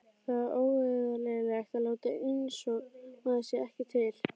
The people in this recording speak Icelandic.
Það er óeðlilegt að láta einsog maður sé ekki til.